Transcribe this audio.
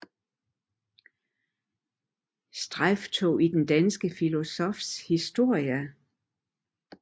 Strejftog i den danske filosofis historie